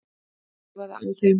Þreifaði á þeim.